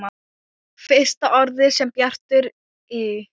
Fyrsta orðið sem Bjartur í